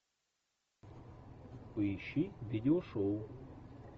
поищи видеошоу